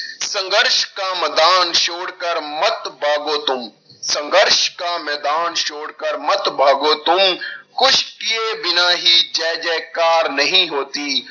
ਸੰਘਰਸ਼ ਕਾ ਮੈਦਾਨ ਛੋੜਕਰ ਮਤ ਭਾਗੋ ਤੁਮ, ਸੰਘਰਸ਼ ਕਾ ਮੈਦਾਨ ਛੋੜਕਰ ਮਤ ਭਾਗੋ ਤੁਮ ਕੁਛ ਕੀਏ ਬਿਨਾਂ ਹੀ ਜੈ ਜੈ ਕਾਰ ਨਹੀਂ ਹੋਤੀ,